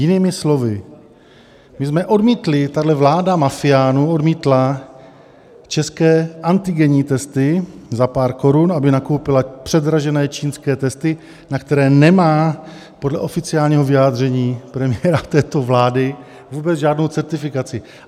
- Jinými slovy, my jsme odmítli, tahle vláda mafiánů odmítla české antigenní testy za pár korun, aby nakoupila předražené čínské testy, na které nemá podle oficiálního vyjádření premiéra této vlády vůbec žádnou certifikaci.